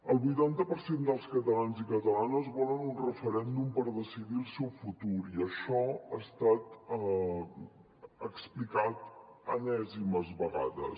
el vuitanta per cent dels catalans i catalanes volen un referèndum per decidir el seu futur i això ha estat explicat enèsimes vegades